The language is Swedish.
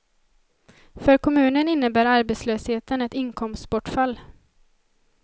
För kommunen innebär arbetslösheten ett inkomstbortfall.